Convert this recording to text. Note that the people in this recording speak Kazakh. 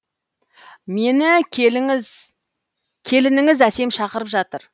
мені келініңіз әсем шақырып жатыр